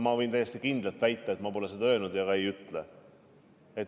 Ma võin täiesti kindlalt väita, et ma pole seda öelnud ja ei ütle ka.